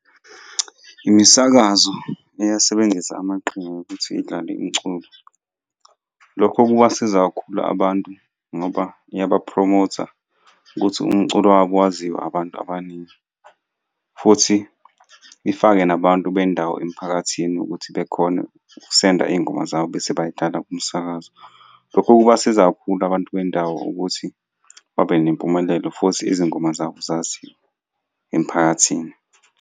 Imisakazo iyasebenzisa amaqhinga okuthi idlale imiculo. Lokho kubasiza kakhulu abantu ngoba iyabaphromotha ukuthi umculo wabo waziwa abantu abaningi, futhi ifake nabantu bendawo emphakathini ukuthi bekhone ukusenda iy'ngoma zabo bese bay'dlala kumsakazo. Lokho kubasiza kakhulu abantu bendawo ukuthi babe nempumelelo futhi izingoma zabo zaziwe emphakathini.